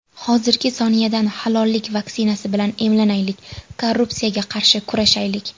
Hozirgi soniyadan halollik vaksinasi bilan emlanaylik, korrupsiyaga qarshi kurashaylik.